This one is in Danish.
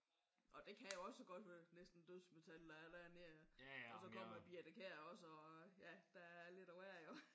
Og det kan jo også godt være næsten dødsmetal der er dernede. Og så kommer Birthe Kjær også ja der er lidt af hver jo